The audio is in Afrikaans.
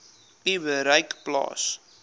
u bereik plaas